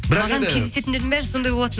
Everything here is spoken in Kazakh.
бірақ енді маған кездесетіндердің бәрі сондай болатын